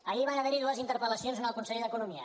ahir van haverhi dues interpel·lacions al conseller d’economia